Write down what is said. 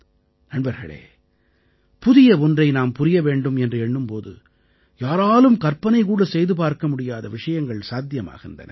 நண்பர்களே புதிய ஒன்றை நாம் புரிய வேண்டும் என்று எண்ணும் போது யாராலும் கற்பனைகூட செய்து பார்க்க முடியாத விஷயங்கள் சாத்தியமாகின்றன